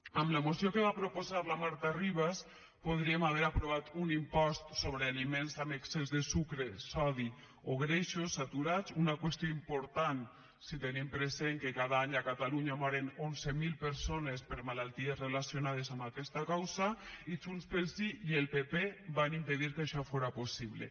amb la moció que va proposar la marta ribas podríem haver aprovat un impost sobre aliments amb excés de sucre sodi o greixos saturats una qüestió important si tenim present que cada any a catalunya moren onze mil persones per malalties relacionades amb aquesta causa i junts pel sí i el pp van impedir que això fora possible